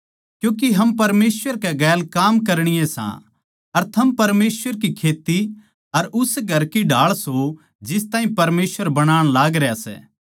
क्यूँके हम परमेसवर कै गेलकाम करणीये सां थम परमेसवर की खेत्ती अर उस घर की ढाळ सों जिस ताहीं परमेसवर बणाण लाग रह्या